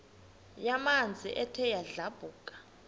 yamanzi ethe yadlabhuka